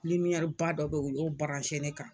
ba dɔ be ye u y'o ne kan